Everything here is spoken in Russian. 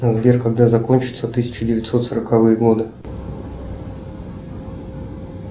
сбер когда закончатся тысяча девятьсот сороковые годы